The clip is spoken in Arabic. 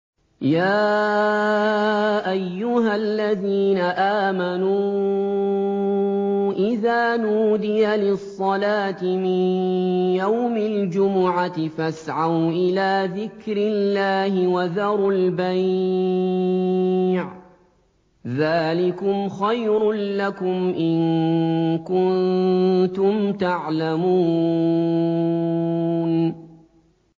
يَا أَيُّهَا الَّذِينَ آمَنُوا إِذَا نُودِيَ لِلصَّلَاةِ مِن يَوْمِ الْجُمُعَةِ فَاسْعَوْا إِلَىٰ ذِكْرِ اللَّهِ وَذَرُوا الْبَيْعَ ۚ ذَٰلِكُمْ خَيْرٌ لَّكُمْ إِن كُنتُمْ تَعْلَمُونَ